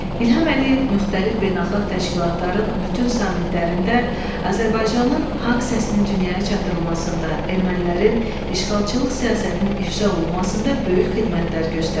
İlham Əliyev müxtəlif beynəlxalq təşkilatların bütün sammitlərində Azərbaycanın haqq səsini dünyaya çatdırılmasında, ermənilərin işğalçılıq siyasətinin ifşa olunmasında böyük xidmətlər göstərib.